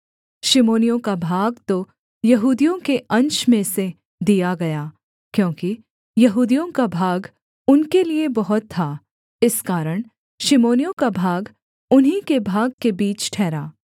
शिमोनियों का भाग तो यहूदियों के अंश में से दिया गया क्योंकि यहूदियों का भाग उनके लिये बहुत था इस कारण शिमोनियों का भाग उन्हीं के भाग के बीच ठहरा